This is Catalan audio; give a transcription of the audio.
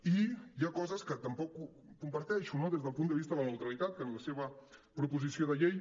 i hi ha coses que tampoc comparteixo no des del punt de vista de la neutrali·tat que en la seva proposició de llei